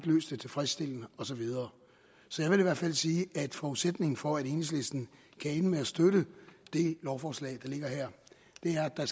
løst det tilfredsstillende og så videre så jeg vil i hvert fald sige at forudsætningen for at enhedslisten kan ende med at støtte det lovforslag ligger her er at der